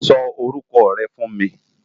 Sò órúkò rè fú n mi